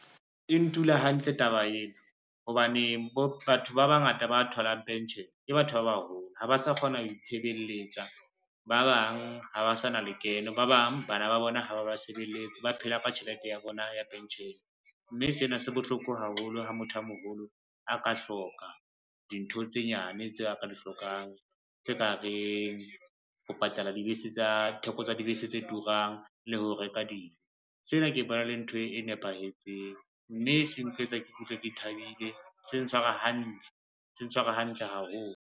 E ntula hantle taba ena, hobane batho ba bangata ba tholang pension ke batho ba baholo, ha ba sa kgona ho itshebeletsa, ba bang ha ba sa na lekeno ba bang bana ba bona ha ba ba sebeletse ba phela ka tjhelete ya bona ya pension. Mme sena se bohloko haholo ha motho a moholo a ka hloka dintho tse nyane tse a ka di hlokang, tse ka reng ho patala dibese theko tsa dibese tse turang le ho reka dijo. Sena ke bona le ntho e nepahetseng, mme se nketsa ke ikutlwe ke thabile, se ntshwara hantle, se ntshwara hantle haholo.